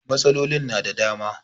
Matsalolin na da dama